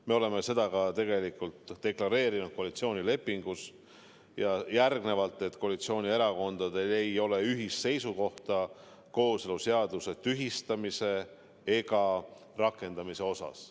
Me oleme seda tegelikult deklareerinud ka koalitsioonilepingus, et koalitsioonierakondadel ei ole ühist seisukohta kooseluseaduse tühistamise ega rakendamise suhtes.